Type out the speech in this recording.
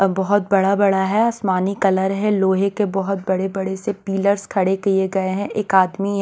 बहुत बड़ा-बड़ा है आसमानी कलर है लोहे के बहुत बड़े-बड़े से पिलर्स खड़े किए गए हैं एक आदमी--